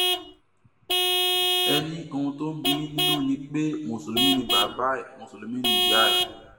ẹ ní ohun tó ń bíi yín nínú ni pé mùsùlùmí ni bàbá ẹ mùsùlùmí níyà ẹ